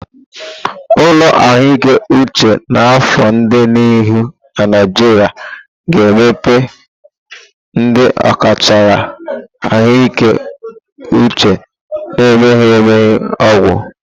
Ụlọ ahụike uche n'afọ di n'ihu na Naijiria ga-emepe ndị ọkachamara ahụike uche na mmemme ọgwụgwọ.